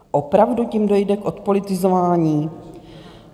Opravdu tím dojde k odpolitizování?